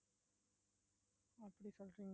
ப்படி சொல்றீங்~